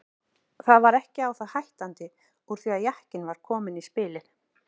Það var ekki á það hættandi úr því að jakinn var kominn í spilið.